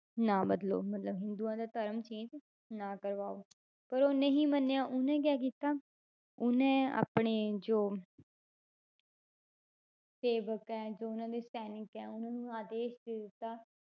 ਨਾ ਬਦਲੋ ਮਤਲਬ ਹਿੰਦੂਆਂ ਦਾ ਧਰਮ change ਨਾ ਕਰਵਾਓ ਪਰ ਉਹ ਨਹੀਂ ਮੰਨਿਆ ਉਹਨੇ ਕਿਆ ਕੀਤਾ, ਉਹਨੇ ਆਪਣੇ ਜੋ ਸੇਵਕ ਹੈ, ਜੋ ਉਹਨਾਂ ਦੇ ਸੈਨਿਕ ਹੈ ਉਹਨਾਂ ਨੂੰ ਆਦੇਸ਼ ਦੇ ਦਿੱਤਾ,